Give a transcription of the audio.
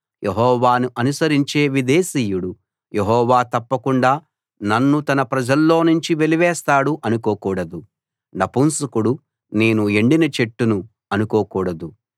యెహోవాను అనుసరించే విదేశీయుడు యెహోవా తప్పకుండా నన్ను తన ప్రజల్లో నుంచి వెలివేస్తాడు అనుకోకూడదు నపుంసకుడు నేను ఎండిన చెట్టును అనుకోకూడదు